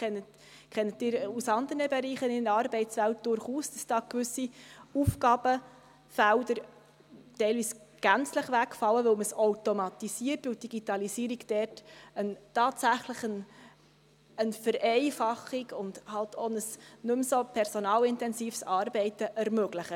Sie kennen es aus anderen Bereichen in der Arbeitswelt auch, dass gewisse Aufgabenfelder teilweise gänzlich wegfallen, weil sie automatisiert werden, weil die Digitalisierung dort tatsächlich eine Vereinfachung und halt auch nicht mehr so personalintensives Arbeiten ermöglicht.